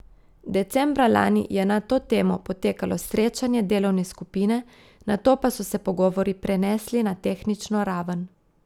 Decembra lani je na to temo potekalo srečanje delovne skupine, nato pa so se pogovori prenesli na tehnično raven.